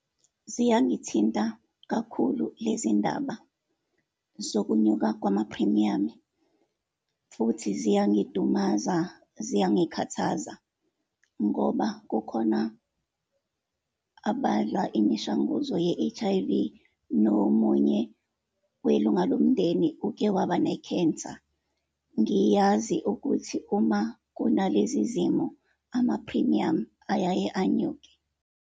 Ziyangithinta kakhulu lezi ndaba zokunyuka kwamaphrimiyamu, futhi ziyangidumaza, ziyangikhathaza ngoba kukhona abadla imishanguzo ye-H_I_V, nomunye welunga lomndeni uke waba ne-cancer. Ngiyazi ukuthi uma kunalezi zimo amaphrimiyamu ayaye unyuke.